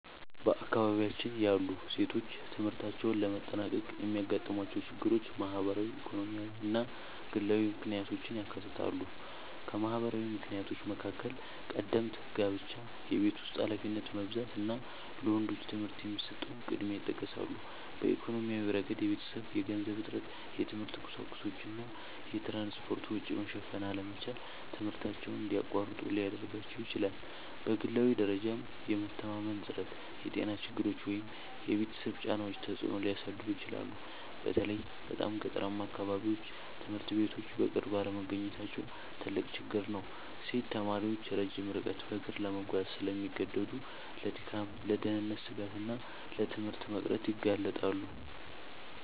በአካባቢያችን ያሉ ሴቶች ትምህርታቸውን ለማጠናቀቅ የሚያጋጥሟቸው ችግሮች ማህበራዊ፣ ኢኮኖሚያዊ እና ግላዊ ምክንያቶችን ያካትታሉ። ከማህበራዊ ምክንያቶች መካከል ቀደምት ጋብቻ፣ የቤት ውስጥ ኃላፊነት መብዛት እና ለወንዶች ትምህርት የሚሰጠው ቅድሚያ ይጠቀሳሉ። በኢኮኖሚያዊ ረገድ የቤተሰብ የገንዘብ እጥረት፣ የትምህርት ቁሳቁሶች እና የትራንስፖርት ወጪ መሸፈን አለመቻል ትምህርታቸውን እንዲያቋርጡ ሊያደርጋቸው ይችላል። በግላዊ ደረጃም የመተማመን እጥረት፣ የጤና ችግሮች ወይም የቤተሰብ ጫናዎች ተጽዕኖ ሊያሳድሩ ይችላሉ። በተለይ በጣም ገጠራማ አካባቢዎች ትምህርት ቤቶች በቅርብ አለመገኘታቸው ትልቅ ችግር ነው። ሴት ተማሪዎች ረጅም ርቀት በእግር ለመጓዝ ስለሚገደዱ ለድካም፣ ለደህንነት ስጋት እና ለትምህርት መቅረት ይጋለጣሉ